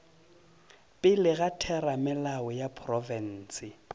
pele ga theramelao ya profense